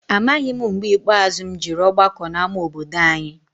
Amaghị m mgbe ikpeazụ m jere ọgbakọ n'ama obodo any'.